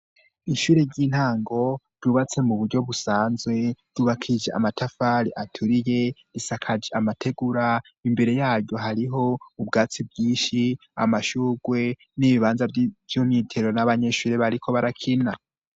Ishure ry'intango ryubatse mu buryo busanzwe ryubakishije amatafari aturiye, risakaje amategura, imbere yaryo hariho ubwatsi bwishi, amashugwe n'ibibanza vy'umwitero n'abanyeshuri bariko barakina.